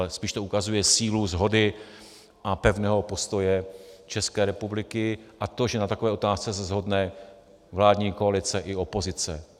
Ale spíš to ukazuje sílu shody a pevného postoje České republiky a to, že na takové otázce se shodne vládní koalice i opozice.